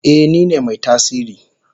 Eh nine mai tasiri.